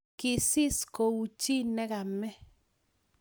kisis kuu chi nekamee